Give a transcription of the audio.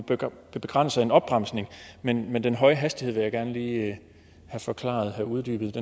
begrænser en opbremsning men men den høje hastighed vil jeg gerne lige have forklaret have uddybet